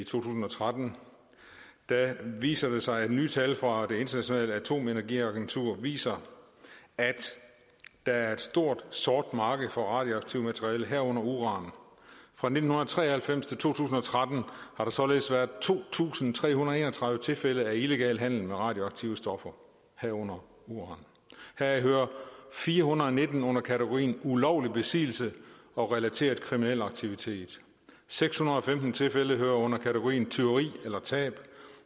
tusind og tretten viser det sig at nye tal fra det internationale atomenergiagentur viser at der er et stort sort marked for radioaktivt materiale herunder uran fra nitten tre og halvfems til to tusind og tretten har der således været to tusind tre hundrede og tredive tilfælde af illegal handel med radioaktive stoffer herunder uran heraf hører fire hundrede og nitten under kategorien ulovlig besiddelse og relateret kriminel aktivitet seks hundrede og femten tilfælde hører under kategorien tyveri eller tab